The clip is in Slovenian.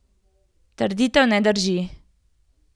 Trditev ne drži.